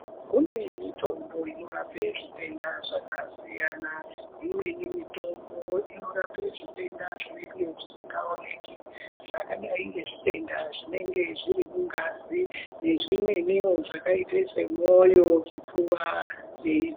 Kune mitombo inorape zvitenda zvakasiyana imweni mitombo inorape zvitenda zvinenge zvisingaoneki zvakadai ngezvitwnda zvinenge zviri mungazi nezvimweniwo zvakaite semwoyo zvipfuva nei.